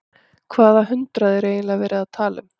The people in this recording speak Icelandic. Hvaða hundrað er eiginlega verið að tala um?